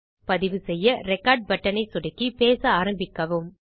பதிவு செய்ய record button சொடுக்கி பேச ஆரம்பிக்கவும்